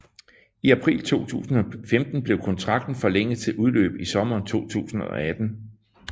I april 2015 blev kontrakten forlænget til udløb i sommeren 2018